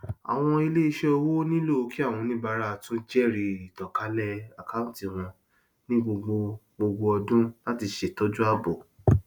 àwọn iléiṣẹ owó nílò kí àwọn oníbàárà tún jẹrìí ìtànkálẹ àkántì wọn ní gbogbo gbogbo ọdún láti ṣètọju ààbò